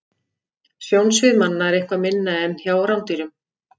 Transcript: Sjónsvið manna er eitthvað minna en hjá rándýrum.